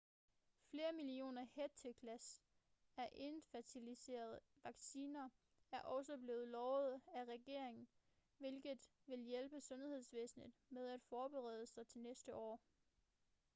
flere millioner hætteglas af encefalitis-vacciner er også blevet lovet af regeringen hvilket vil hjælpe sundhedsvæsenet med at forberede sig til næste år